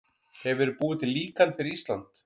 Hefur verið búið til líkan fyrir Ísland?